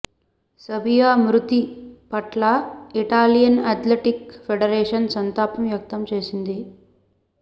సబియా మృతి పట్ల Italian athletic federation సంతాపం వ్యక్తం చేసింది